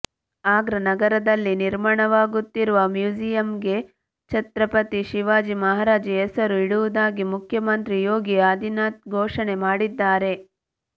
ಆಗ್ರಾ ನಗರದಲ್ಲಿ ನಿರ್ಮಾಣವಾಗುತ್ತಿರುವ ಮ್ಯೂಸಿಯಂಗೆ ಛತ್ರಪತಿ ಶಿವಾಜಿ ಮಹಾರಾಜ್ ಹೆಸರು ಇಡುವುದಾಗಿ ಮುಖ್ಯಮಂತ್ರಿ ಯೋಗಿ ಆದಿತ್ಯನಾಥ್ ಘೋಷಣೆ ಮಾಡಿದ್ದಾರೆ